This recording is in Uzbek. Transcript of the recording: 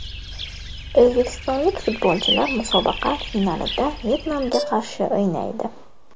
O‘zbekistonlik futbolchilar musobaqa finalida Vyetnamga qarshi o‘ynaydi.